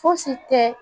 Fosi tɛ